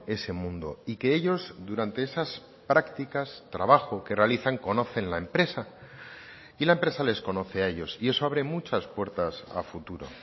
ese mundo y que ellos durante esas prácticas trabajo que realizan conocen la empresa y la empresa les conoce a ellos y eso abre muchas puertas a futuro